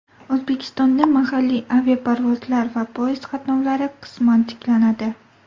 O‘zbekistonda mahalliy aviaparvozlar va poyezd qatnovlari qisman tiklanadi.